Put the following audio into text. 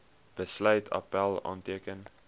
besluit appèl aanteken